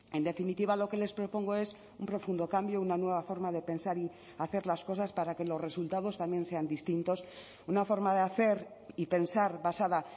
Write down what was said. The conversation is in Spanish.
en definitiva lo que les propongo es un profundo cambio una nueva forma de pensar y hacer las cosas para que los resultados también sean distintos una forma de hacer y pensar basada